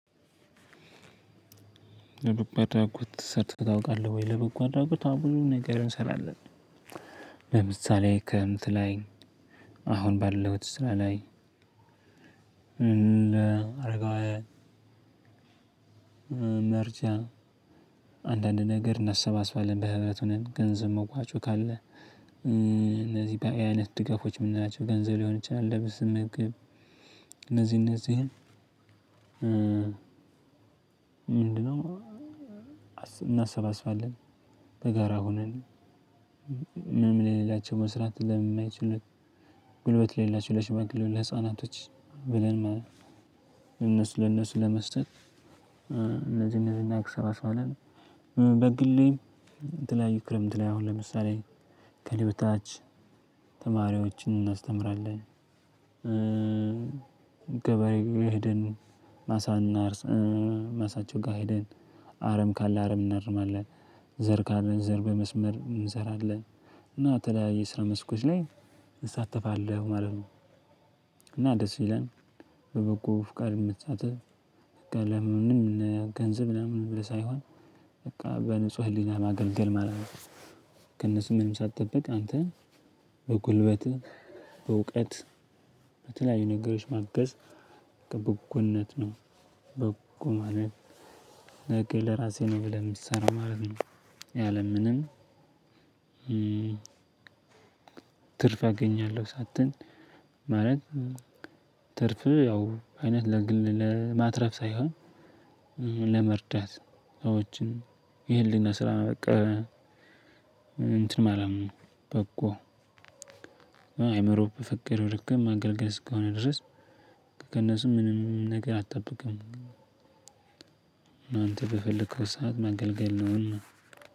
በደግ አድረጎት ተሳትፈ ታውቃለህ ወይ? ለበጎ አድራጎት አዎ ብዙ ነገር እንሰራለን። ለምሳሌ ክርምት ላይ አሁን ባለሁት ስራ ላይ አረጋዊ ምርጫ አንዳንድ ነገር እናሰባስባለን በህብረቱ ሆነን ገንዘብ መዋጮ ካለ እነዚህ በዚህ አይነት ድጋፎች የምንላቸው ገንዘብ ሊሆን ይችላል ልብስም እነዚህ እነዚህን ምንድነው እናሰባስባለን በጋራ ሆነን ምን ምን የሌላቸው መስራት ለምን የማይችሉት ጉልበት ላሌላቸው ለሽማግሌው ለህፃናቶች ብለን ነው እነሱ ለእነሱ ለመስጠት እነዚህ እነዚህን እናሰባስባለን አለን በግሌ የተለያዩ ክረምት ላይ አሁን ለምሳሌ ከሌሎች ተማሪዎችን እናስተምራለን ገበሬ ሄደን ማሳ እናርሳ ማሳቸው ጋር ሄደን አረም ካለ አረም እናርማለን። ዘር ካላ ዘር በመስመር እንሰራለን እና የተለያዩ ስራ መስኮች ላይ እንሳተፋለን ማለት ነው። እና ደስ ብለን በበጎ ፍቃድ የምትሳተፍ ለምንም ገንዘብ ለምንም ለሳይሆን በቃ በንጹህ ህሊና ማገልገል ማለት ነው። ከእነሱ ምንም ሳትጠብቅ አንተን በጉልበትህ በእውቀት በተለያዩ ነገሮች መገዝ በበጎነት ነው በበጎ ማለት ለራሴ ነው ብለህ የምትሰራው ማለት ነው። ያለምንም ትርፍ አገኛለሁ ሳትን ማለት ትርፍ ያው አይነት ለማትረፍ ሳይሆን ለመርዳት ሰዎችን የህሊና ስራ ነው በቃ እንትን አለምንም በጎ አእምሮ በፈቀደው ልክ ማገልገል እስከሆነ ድረስ ከእነሱም ምንም ነገር አትጠብቅም ብፈልግ ሰዓት መገልገል ነው ሁሉ